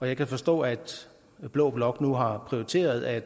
jeg kan forstå at blå blok nu har prioriteret at